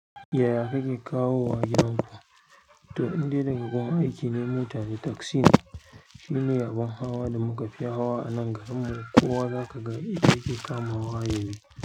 Yaya kake kawo gidan ku? To, indai daga kuma aiki ne mota da taxi shi ne abin hawa da muka fi hawa a nan garin mu. Ko wa za ka ga yake kama wa yayi.